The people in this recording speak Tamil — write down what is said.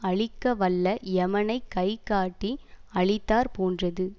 அழிக்க வல்ல எமனைக் கைகாட்டி அழித்தாற் போன்றது